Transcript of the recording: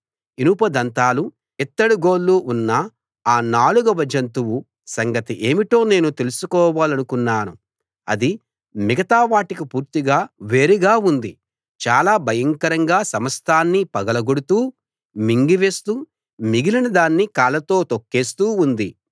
ఇనుప దంతాలు ఇత్తడి గోళ్లు ఉన్న ఆ నాలుగవ జంతువు సంగతి ఏమిటో నేను తెలుసుకోవాలనుకున్నాను అది మిగతా వాటికి పూర్తిగా వేరుగా ఉంది చాలా భయంకరంగా సమస్తాన్నీ పగలగొడుతూ మింగి వేస్తూ మిగిలిన దాన్ని కాళ్లతో తొక్కేస్తూ ఉంది